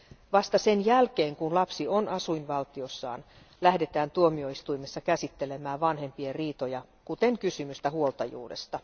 Vasta sen jälkeen kun lapsi on asuinvaltiossaan, lähdetään tuomioistuimessa käsittelemään vanhempien riitoja, kuten kysymystä huoltajuudesta.